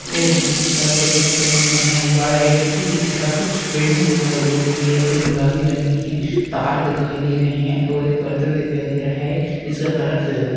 एक blue shirt और black pant पहना हुआ है पीछे की तरफ बिल्डिंग दिखाई दे रही है जो गुलाबी रंग की है तार दिखाई दे रहे हैं और एक बर्तन दिखाई दे रहा है जिसका कलर सिल्वर --